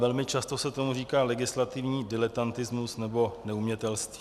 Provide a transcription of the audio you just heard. Velmi často se tomu říká legislativní diletantismus nebo neumětelství.